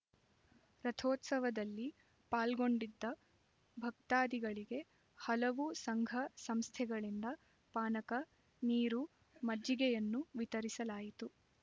ರಥೋತ್ಸವದಲ್ಲಿ ಪಾಲ್ಗೊಂಡಿದ್ದ ಭಕ್ತಾದಿಗಳಿಗೆ ಹಲವು ಸಂಘ ಸಂಸ್ಥೆಗಳಿಂದ ಪಾನಕ ನೀರು ಮಜ್ಜಿಗೆಯನ್ನು ವಿತರಿಸಲಾಯಿತು